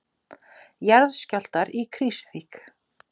Jarðskjálftar í Krýsuvík